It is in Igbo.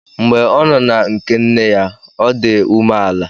Mgbe ọ nọ na nke nne ya, o di umeala